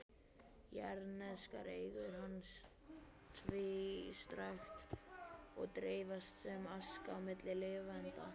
Jarðneskar eigur hans tvístrast og dreifast sem aska milli lifenda.